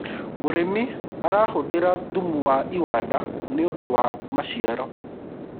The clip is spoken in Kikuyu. mũrĩmi arahuthira thumu wa iwanda nĩũndũ wa maciaro